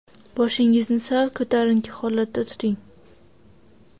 Boshingizni sal ko‘tarinki holatda tuting.